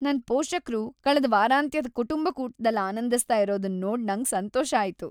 ನನ್ ಪೋಷಕ್ರು ಕಳ್ದ ವಾರಾಂತ್ಯದ ಕುಟುಂಬ ಕೂಟದಲ್ ಆನಂದಿಸ್ತ ಇರೋದನ್ ನೋಡ್ ನಂಗ್ ಸಂತೋಷ ಆಯ್ತು.